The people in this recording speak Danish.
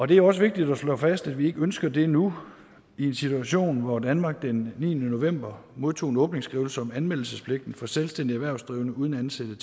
det er også vigtigt at slå fast at vi ikke ønsker det nu i en situation hvor danmark den niende november modtog en åbningsskrivelse om anmeldelsespligten for selvstændige erhvervsdrivende uden ansatte